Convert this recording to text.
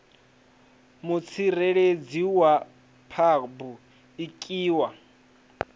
mutsireledzi wa phabu iki wa